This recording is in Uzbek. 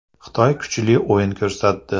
Xitoy kuchli o‘yin ko‘rsatdi.